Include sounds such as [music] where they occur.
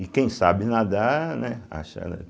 E quem sabe nadar, né? [unintelligible]